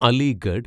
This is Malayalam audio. അലിഗഡ്